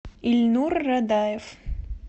ильнур радаев